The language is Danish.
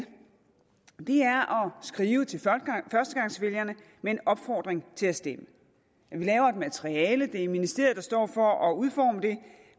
skrive til førstegangsvælgerne med en opfordring til at stemme vi laver et materiale det er ministeriet der står for at udforme det